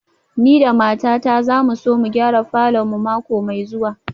Ni da matata za mu so mu gyara falor mu mako mai zuwa